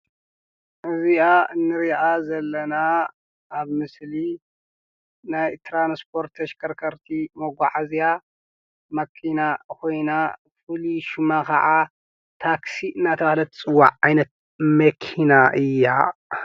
እዚኣ ንሪኣ ዘለና ኣብ ምስሊ ናይ ትራንስፖርት ተሽከርከርቲ መጓዓዝያ ማኪና ኮይና ፍሉይ ሽማ ከዓ ታክሲ እናተባህለት ትፅዋዕ ዓይነት መኪና እያ፡፡